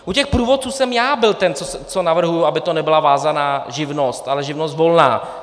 U těch průvodců jsem já byl ten, co navrhuji, aby to nebyla vázaná živnost, ale živnost volná.